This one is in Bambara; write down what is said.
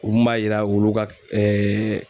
O mun b'a yira wulu ka